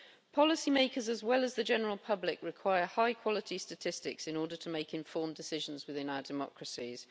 Policy makers, as well as the general public, require high quality statistics in order to make informed decisions within our democracies.